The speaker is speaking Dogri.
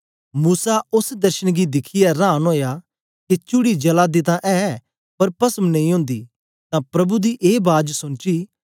मूसा ओस दर्शन गी दिखियै रांन ओया के चुअड़ी जला दी तां ऐ पर पसम नेई ओंदी तां प्रभु दी ए बाज सोनची